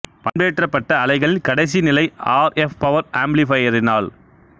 பண்பேற்றப்பட்ட அலைகள் கடைசி நிலை ஆர் எப் பவர் ஆம்ப்ளிபையரினால்